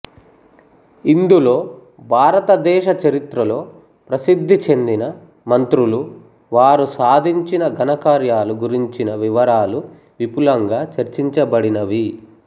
ఇందులో భారతదేశ చరిత్రలో ప్రసిద్ధిచెందిన మంత్రులు వారు సాధించిన ఘనకార్యాలు గురించిన వివరాలు విపులంగా చర్చించబడినవి